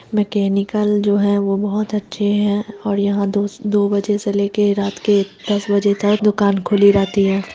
Mechanical जो है वो बहुत अच्छे है और यहाँ दो-दो बजे से ले के रात के दस बजे तक दुकान खुली रहती है।